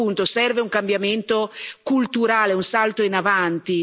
Secondo punto serve un cambiamento culturale, un salto in avanti.